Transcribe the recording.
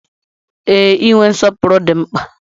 Ee, inwe nsọpụrụ dị mkpa.